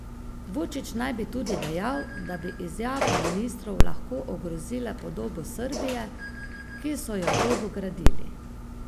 Vučić naj bi tudi dejal, da bi izjave ministrov lahko ogrozile podobo Srbije, ki so jo dolgo gradili.